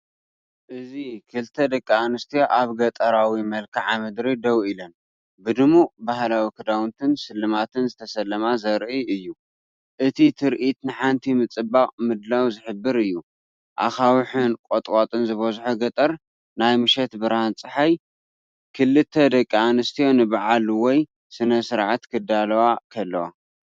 እዚ ክልተ ደቂ ኣንስትዮ ኣብ ገጠራዊ መልክዓ ምድሪ ደው ኢለን፡ብድሙቕ ባህላዊ ክዳውንትን ስልማትን ዝተሰለማ ዘርኢ እዩ። እቲ ትርኢት ንሓንቲ ምጽባቕ ምድላው ዝሕብር እዩ። ኣኻውሕን ቁጥቋጥን ዝበዝሖ ገጠር፡ናይ ምሸት ብርሃን ጸሓይ። ክልተ ደቂ ኣንስትዮ ንበዓል ወይ ስነ-ስርዓት ክዳለዋ ከለዋ።